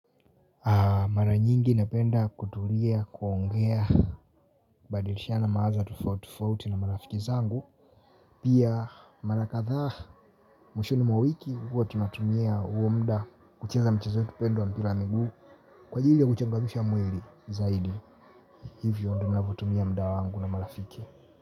Mara nyingi napenda kutulia, kuongea, kubadilishana mawazo tofauti tofauti na marafiki zangu. Pia mara kadhaa mwishoni mwa wiki huwa tunatumia huo mda kucheza mchezo wetu pendwa wa mpira wa miguu kwaajili ya kuchangamisha mwili zaidi. Hivyo ndo ninavyotumia mda wangu na marafiki.